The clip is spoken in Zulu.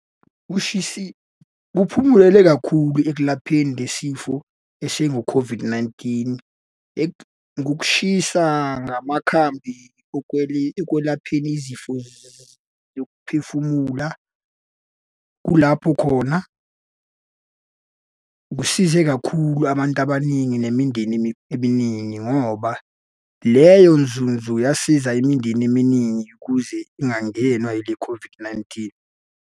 Kuphumulele kakhulu ekulapheni le sifo esingu-COVID-19. Ngokushisa ngamakhambi ekwelapheni izifo zokuphefumula, kulapho khona kusize kakhulu abantu abaningi nemindeni eminingi ngoba leyo nzunzu yasiza imindeni eminingi ukuze ingangenwa yile-COVID-19.